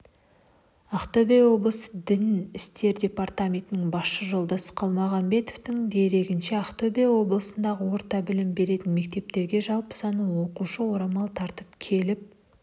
ақтөбе облыстық дін істері департаментінің басшысы жолдас қалмағамбетовтің дерегінше ақтөбе облысындағы орта білім беретін мектептерге жалпы саны оқушы орамал тартып келіп